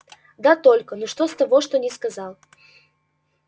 да только ну что с того что не сказал